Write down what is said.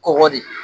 Kɔgɔ de